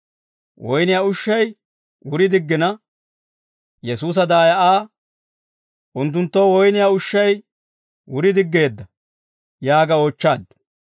Woynniyaa ushshay wuri diggina, Yesuusa daaya Aa, «Unttunttoo woyniyaa ushshay wuri diggeedda» yaaga oochchaaddu.